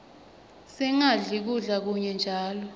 singadli kudla kunye njalo